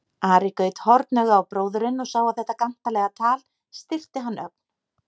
Ari gaut hornauga á bróðurinn og sá að þetta gantalega tal styrkti hann ögn.